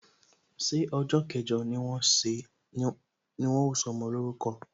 Ṣé ọjọ kẹjọ ni wọn ó sọmọ lórúko?